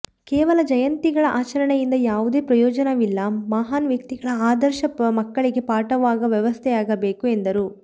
ಕೇವಲ ಜಯಂತಿಗಳ ಆಚರಣೆಯಿಂದ ಯಾವುದೇ ಪ್ರಯೋಜನವಿಲ್ಲ ಮಹಾನ್ ವ್ಯಕ್ತಿಗಳ ಆದರ್ಶ ಮಕ್ಕಳಿಗೆ ಪಾಠವಾಗವ ವ್ಯವಸ್ಥೆಯಾಗಬೇಕು ಎಂದರು